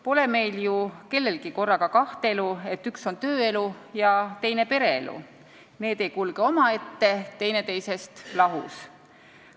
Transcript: Pole meil ju kellelgi korraga kaht elu, et üks on tööelu ja teine pereelu, need ei kulge omaette, teineteisest lahus.